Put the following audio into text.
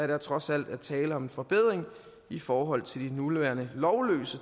der trods alt er tale om en forbedring i forhold til de nuværende lovløse